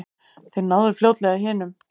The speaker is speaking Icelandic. Þeir náðu fljótlega hinum.